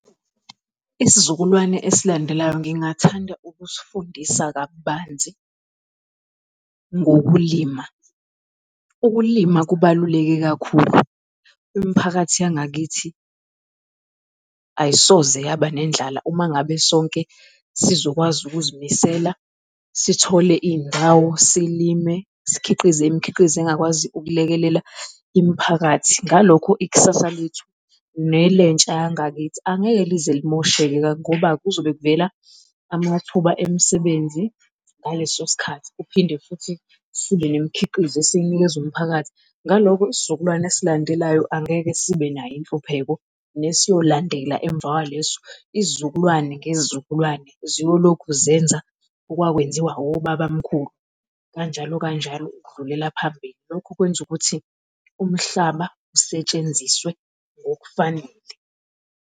Isizukulwane esilandelayo ngingathanda ukusifundisa kabanzi ngokulima. Ukulima kubaluleke kakhulu, imphakathi yangakithi ayisoze yaba nendlala uma ngabe sonke sizokwazi ukuzimisela, sithole iy'ndawo, silime sikhiqize imikhiqizo engakwazi ukulekelela imiphakathi. Ngalokho ikusasa lethu nelentsha yangakithi angeke lize limosheke ngoba kuzobe kuvela amathuba emisebenzi ngaleso sikhathi. Kuphinde futhi sibe nemikhiqizo esiyinikeza umphakathi. Ngaloko isizukulwane esilandelayo angeke sibenayo inhlupheko nesiyolandela emvakwaleso. Isizukulwane ngezizukulwane ziyolokhu zenza okwakwenziwa obaba mkhulu kanjalo kanjalo ukudlulela phambili. Lokhu kwenza ukuthi umhlaba usetshenziswe ngokufanele.